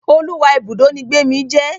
Oluwa Ibùdó ní Gbemi jé.